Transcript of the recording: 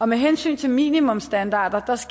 med hensyn til minimumsstandarder